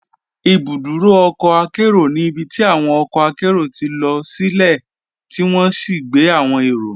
Ibùdúrò ọ̀kọ̀ àkẹro ní ibítí awọn ọ̀kọ̀ àkẹro tí lọ silẹ̀ tí wọn sì gbẹ̀ awọn èró.